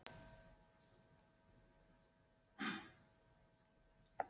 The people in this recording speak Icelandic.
Þessi mikla umfjöllun hlýtur að kalla á aukinn mannskap, eða hvað?